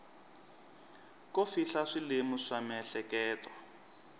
ko fihla swilemu swa miehleketo